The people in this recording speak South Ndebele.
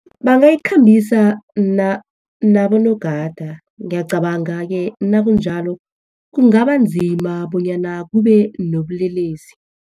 Bangayikhambisa nabogada. Ngiyacabanga-ke nakunjalo, kungaba nzima bonyana kube nobulelesi.